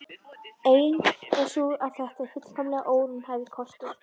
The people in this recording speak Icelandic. Ein er sú að þetta sé fullkomlega óraunhæfur kostur.